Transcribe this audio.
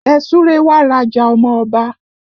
Ẹ súre wá raja ọmọ Ọba!